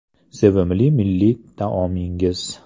Sevimli milliy taomingiz?